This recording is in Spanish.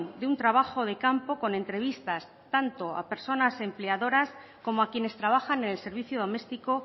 de un trabajo de campo con entrevistas tanto a personas empleadoras como a quienes trabajan en el servicio doméstico